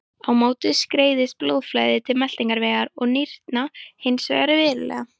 Á móti skerðist blóðflæði til meltingarvegar og nýrna hins vegar verulega.